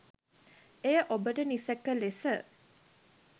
එය ඔබට නිසැක ලෙස